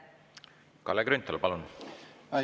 Kalle Grünthal, palun!